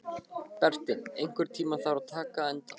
Berti, einhvern tímann þarf allt að taka enda.